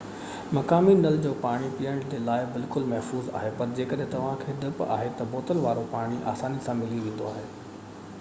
مقامي نل جو پاڻي پيئڻ جي لاءِ بلڪل محفوظ آهي پر جيڪڏهن توهان کي ڊپ آهي تہ بوتل وارو پاڻي آساني سان ملي ويندو آهي